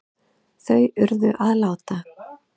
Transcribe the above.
Þau urðu að láta